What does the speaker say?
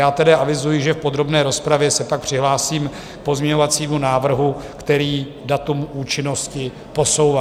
Já tedy avizuji, že v podrobné rozpravě se pak přihlásím k pozměňovacímu návrhu, který datum účinnosti posouvá.